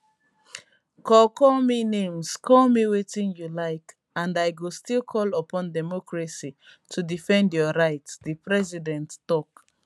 call call me names call me wetin you like and i go still call upon democracy to defend your right di president tok